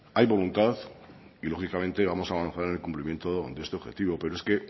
hay voluntad y lógicamente vamos a avanzar en el cumplimiento de este objetivo pero es que